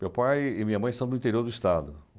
Meu pai e minha mãe são do interior do estado.